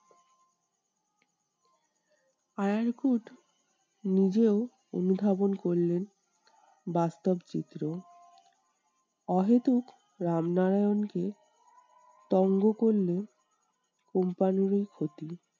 আরার কুট নিজেও অনুধাবন করলেন বাস্তব চিত্র। অহেতুক রামনারায়ণ কে করলে company র ই ক্ষতি।